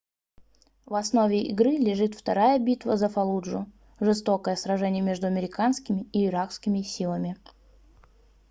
в основе игры лежит вторая битва за фаллуджу жестокое сражение между американскими и иракскими силами